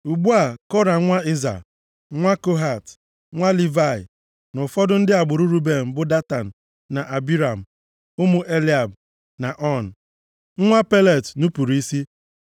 Ugbu a, Kora nwa Izha, nwa Kohat, nwa Livayị, na ụfọdụ ndị agbụrụ Ruben bụ Datan, na Abiram ụmụ Eliab, na On, nwa Pelet nupuru isi